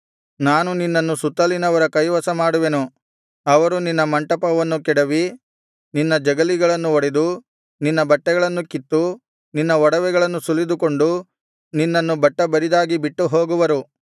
ನಾನು ನಿನ್ನನ್ನು ಸುತ್ತಲಿನವರ ಕೈವಶಮಾಡುವೆನು ಅವರು ನಿನ್ನ ಮಂಟಪವನ್ನು ಕೆಡವಿ ನಿನ್ನ ಜಗಲಿಗಳನ್ನು ಒಡೆದು ನಿನ್ನ ಬಟ್ಟೆಗಳನ್ನು ಕಿತ್ತು ನಿನ್ನ ಒಡವೆಗಳನ್ನು ಸುಲಿದುಕೊಂಡು ನಿನ್ನನ್ನು ಬಟ್ಟಬರಿದಾಗಿ ಬಿಟ್ಟುಹೋಗುವರು